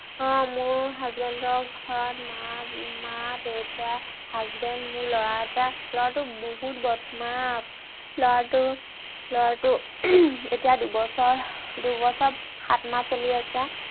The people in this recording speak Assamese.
আহ মোৰ husband ৰ ঘৰত মা, মা-দেউতা, husband মোৰ ল'ৰা এটা। ল'ৰাটোক বহুত বদমাছ। ল'ৰাটো ল'ৰাটো এতিয়া দুবছৰ, দুবছৰ সাতমাহ চলি আছে।